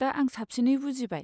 दा आं साबसिनै बुजिबाय।